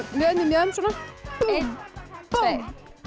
mjöðm við mjöðm eitt